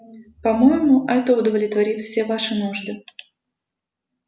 по-моему это удовлетворит все ваши нужды